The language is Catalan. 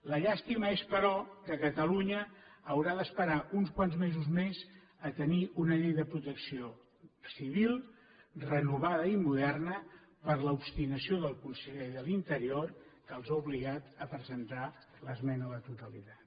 la llàstima és però que catalunya haurà d’esperar uns quants mesos més a tenir una llei de protecció civil renovada i moderna per l’obstinació del conseller de l’interior que els ha obligat a presentar l’esmena a la totalitat